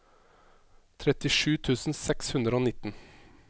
trettisju tusen seks hundre og nitten